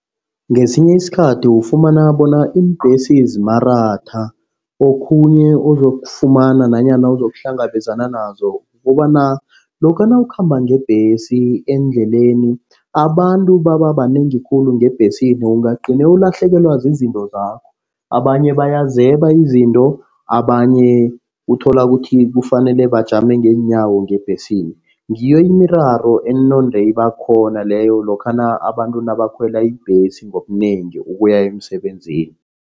Ngesinye isikhathi ufumana bona iimbhesi zimaratha. Okhunye uzokufumana nanyana uzokuhlangabezana nazo kukobana lokha nawukhamba ngebhesi endleleni abantu baba banengi khulu ngebhesini ungagcine ulahlekelwa zizinto zakho. Abanye bayazeba izinto, abanye uthola ukuthi kufanele bajame ngeenyawo ngebhesini. Ngiyo imiraro enonde ibakhona leyo lokhana abantu nabakhwela ibhesi ngobunengi ukuya emsebenzini.